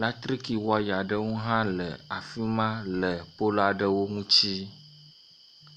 Latriki waya aɖewo hã le afi ma le pol aɖewo ŋuti.